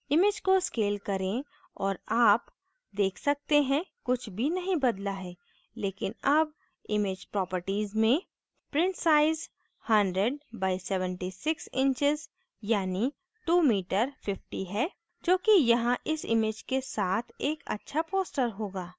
image को scale करें और आप देख सकते हैं कुछ भी नहीं बदला है लेकिन अब image properties में print size 100 by 76 inches यानी 2 m 50 है जो कि यहाँ इस image के साथ एक अच्छा poster होगा